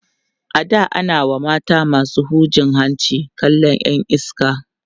a da a na WA mata masu hujin hanci kallan Yan iska